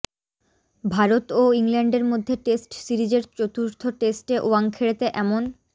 ভারত ও ইংল্যান্ডের মধ্যে টেস্ট সিরিজের চতুর্থ টেস্টে ওয়াংখেড়েতে এমন